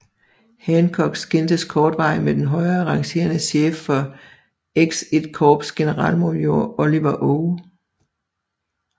Hancock skændtes kortvarigt med den højere rangerende chef for XI korps generalmajor Oliver O